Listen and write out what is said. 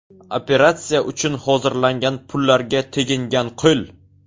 Operatsiya uchun hozirlangan pullarga tegingan qo‘l.